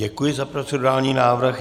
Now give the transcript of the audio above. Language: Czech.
Děkuji za procedurální návrh.